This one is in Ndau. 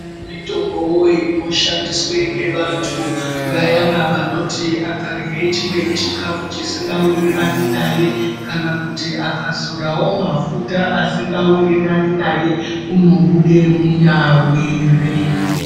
Mitombowo inoshandiswa ngevantu vayana vekuti vakarya chikafu chisikawirirani naye kana kuti akazorawo mafuta asikawirirani naye, unobude munyawiri.